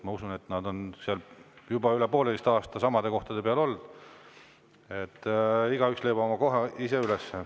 Ma usun, et kuna nad on juba üle poolteise aasta samade kohtade peal olnud, siis igaüks leiab oma koha ise üles.